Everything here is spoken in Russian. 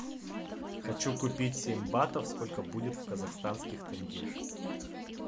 хочу купить семь батов сколько будет в казахстанских тенге